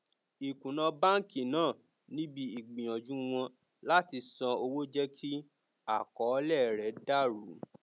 ikùnà báńkì náà níbi ìgbìyànjú wọn láti san owó jẹ kí àkọọlẹ rẹ dàrú